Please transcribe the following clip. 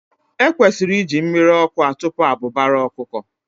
E kwesịrị iji mmiri ọkụ atụpụ abụbara ọkụkọ.